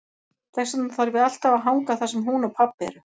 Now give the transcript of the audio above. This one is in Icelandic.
Þess vegna þarf ég alltaf að hanga þar sem hún og pabbi eru.